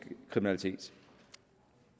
kriminalitet